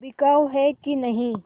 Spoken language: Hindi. बिकाऊ है कि नहीं